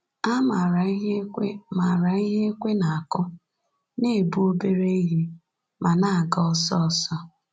Ha maara ihe ekwe maara ihe ekwe na-akụ, na-ebu obere ihe, ma na-aga ọsọ ọsọ.